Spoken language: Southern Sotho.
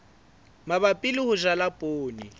mabapi le ho jala poone